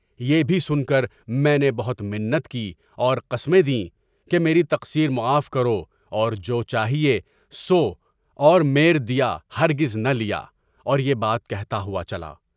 یہ بھی سن کر میں نے بہت منت کیں اور قسمیں دیں کہ میری تقصیر معاف کر اور جو چاہیے سو اور میرے دیاہر گزنہ لیا اور یہ بات کہتا ہوا چلا۔